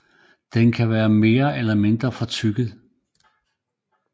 Den kan være mere eller mindre fortykket